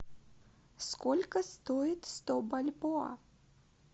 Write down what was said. сколько стоит сто бальбоа